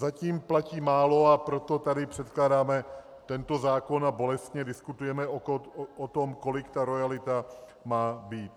Zatím platí málo, a proto tady předkládáme tento zákon a bolestně diskutujeme o tom, kolik ta roajalita má být.